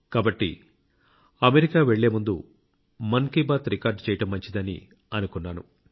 కాబట్టి అమెరికా వెళ్లే ముందు మన్ కీ బాత్ రికార్డ్ చేయడం మంచిదని అనుకున్నాను